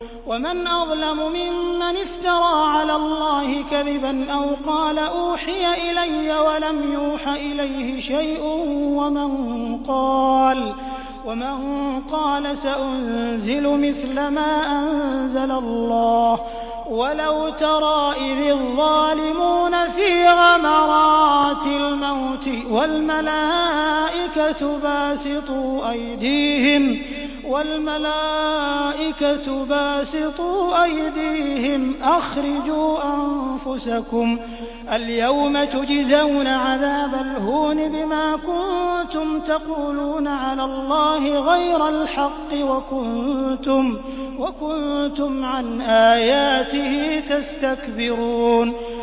وَمَنْ أَظْلَمُ مِمَّنِ افْتَرَىٰ عَلَى اللَّهِ كَذِبًا أَوْ قَالَ أُوحِيَ إِلَيَّ وَلَمْ يُوحَ إِلَيْهِ شَيْءٌ وَمَن قَالَ سَأُنزِلُ مِثْلَ مَا أَنزَلَ اللَّهُ ۗ وَلَوْ تَرَىٰ إِذِ الظَّالِمُونَ فِي غَمَرَاتِ الْمَوْتِ وَالْمَلَائِكَةُ بَاسِطُو أَيْدِيهِمْ أَخْرِجُوا أَنفُسَكُمُ ۖ الْيَوْمَ تُجْزَوْنَ عَذَابَ الْهُونِ بِمَا كُنتُمْ تَقُولُونَ عَلَى اللَّهِ غَيْرَ الْحَقِّ وَكُنتُمْ عَنْ آيَاتِهِ تَسْتَكْبِرُونَ